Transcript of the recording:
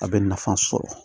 A bɛ nafa sɔrɔ